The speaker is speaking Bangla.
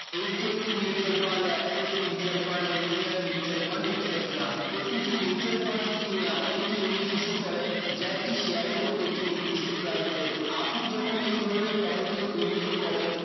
HDFC Mutual Fund Access Mutual Fund SBI Mutual Fund etc প্রতিটি mutual funds কিনে এমন একটি unit issue করে যা একটি share এর মতো একটি নির্দিষ্ট prize এর আপনি যখন এই ধরণের তহবিলে বিনিয়োগ করেন